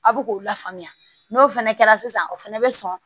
A bɛ k'o la faamuya n'o fɛnɛ kɛra sisan o fɛnɛ bɛ sɔn